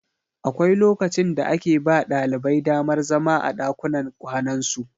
Akwai lokacin da ake ba ɗalibai damar zama a ɗakunan kwanansu.